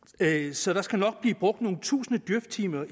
så der skal nok blive brugt nogle tusinde djøftimer